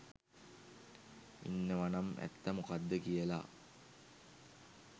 ඉන්නවනම් ඇත්ත මොකක්ද කියලා